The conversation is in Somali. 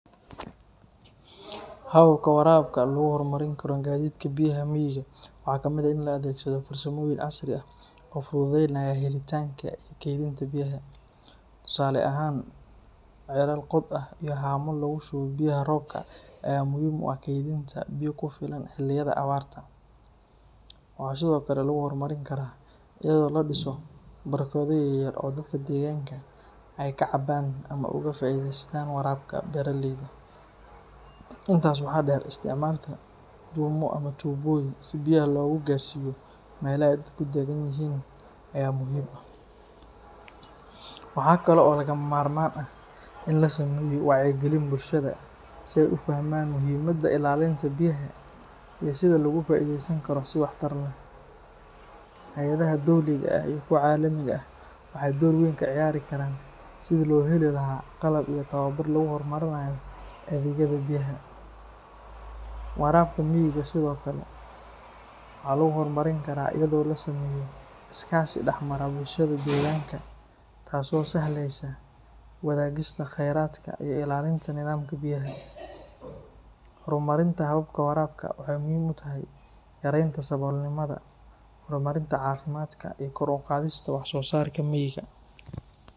Hababka waraabka lagu horumarin karo gadidka biyaha miyiga waxaa kamid ah in la adeegsado farsamooyin casri ah oo fududeynaya helitaanka iyo kaydinta biyaha. Tusaale ahaan, ceelal qod ah iyo haamo lagu shubo biyaha roobka ayaa muhiim u ah kaydinta biyo ku filan xilliyada abaarta. Waxaa sidoo kale lagu horumarin karaa iyadoo la dhiso barkado yaryar oo dadka deegaanka ay ka cabaan ama uga faa’iideystaan waraabka beeraleyda. Intaas waxaa dheer, isticmaalka dhuumo ama tuubooyin si biyaha loogu gaarsiiyo meelaha ay dadku daggan yihiin ayaa muhiim ah. Waxa kale oo lagama maarmaan ah in la sameeyo wacyigelin bulshada si ay u fahmaan muhiimada ilaalinta biyaha iyo sida loogu faaiideysan karo si waxtar leh. Hay’adaha dowliga ah iyo kuwa caalamiga ah waxay door weyn ka ciyaari karaan sidii loo heli lahaa qalab iyo tababar lagu horumarinayo adeegyada biyaha. Waraabka miyiga sidoo kale waxaa lagu horumarin karaa iyadoo la sameeyo iskaashi dhex mara bulshada deegaanka, taasoo sahlaysa wadaagista khayraadka iyo ilaalinta nidaamka biyaha. Horumarinta hababka waraabka waxay muhiim u tahay yareynta saboolnimada, horumarinta caafimaadka, iyo kor u qaadista wax soo saarka miyiga.